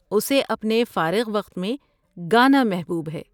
اسے اپنے فارغ وقت میں گانا محبوب ہے۔